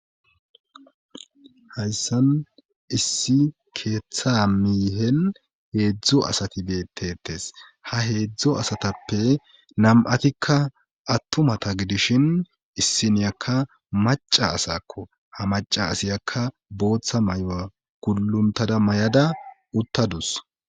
Hayssan issi keeththa miihen heedzdzo asati beettetes ha heedzdzo asatappe nam7atikka attumata gidishin issiniyakka maca asakko ha maca asiyakka booththa may7oa gulluntada may7ada uttadus.